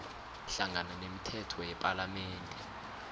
hlangana nemithetho yepalamende